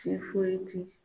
Tifoyiti